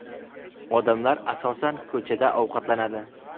Odamlar, asosan, ko‘chada ovqatlanadi.